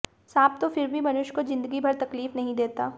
सांप तो फिर भी मनुष्य को जिंदगी भर तकलीफ नहीं देता